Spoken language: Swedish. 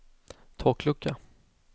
taklucka